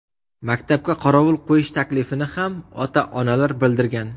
Maktabga qorovul qo‘yish taklifini ham ota-onalar bildirgan.